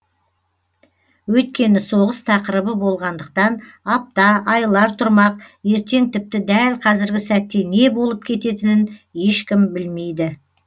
өйткені соғыс тақырыбы болғандықтан апта айлар тұрмақ ертең тіпті дәл қазіргі сәтте не болып кететінін ешкім білмейді